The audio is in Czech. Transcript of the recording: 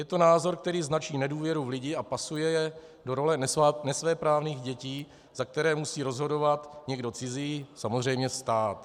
Je to názor, který značí nedůvěru v lidi a pasuje je do role nesvéprávných dětí, za které musí rozhodovat někdo cizí - samozřejmě stát.